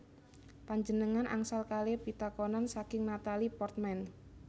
Panjenengan angsal kale pitakonan saking Natalie Portman